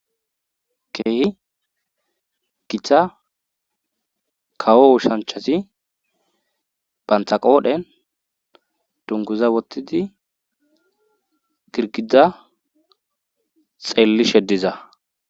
Kehi gita kawo ushanchasi bantaqoodhen dunguza wottidi girgiza xeelli sheddiza